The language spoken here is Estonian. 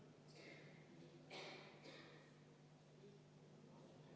Aitäh!